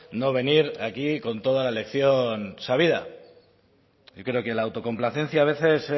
no venir aquí con toda la lección sabida yo creo que la autocomplacencia a veces